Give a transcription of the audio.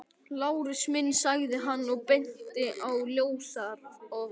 Lárus minn, sagði hann og benti á ljósarofann.